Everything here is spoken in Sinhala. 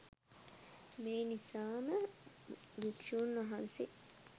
මේ නිසාම භික්ෂූන් වහන්සේ